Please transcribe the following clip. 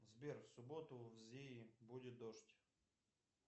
сбер в субботу в зее будет дождь